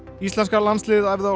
íslenska landsliðið æfði á